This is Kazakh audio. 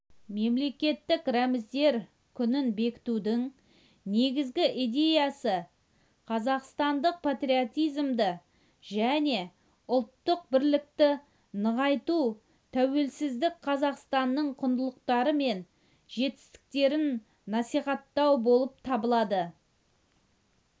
мемлекеттік рәміздер күнін бекітудің негізгі идеясы қазақстандық патриотизмді және ұлттық бірлікті нығайту тәуелсіз қазақстанның құндылықтары мен жетістіктерін насихаттау болып табылады